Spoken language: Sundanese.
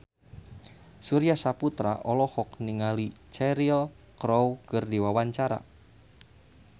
Surya Saputra olohok ningali Cheryl Crow keur diwawancara